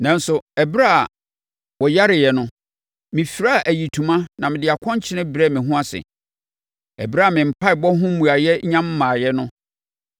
Nanso, ɛberɛ a wɔyareeɛ no, mefiraa ayitoma na mede akɔnkyene brɛɛ me ho ase. Ɛberɛ a me mpaeɛbɔ ho mmuaeɛ nnya mmaeɛ no,